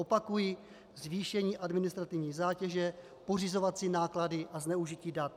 Opakuji: zvýšení administrativní zátěže, pořizovací náklady a zneužití dat.